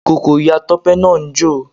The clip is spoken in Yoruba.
Ìkókó Iya Tope náà ń jò.